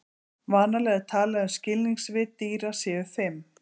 vanalega er talað um að skilningarvit dýra séu fimm